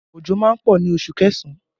Òjò má ń pọ̀ ní oṣù kẹsàn-án